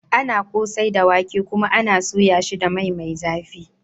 Ana yi kosai da wake, kuma ana soya shi da mai mai zafi.